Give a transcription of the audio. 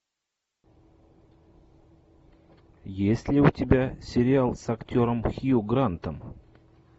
есть ли у тебя сериал с актером хью грантом